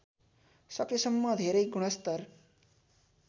सकेसम्म धेरै गुणस्तर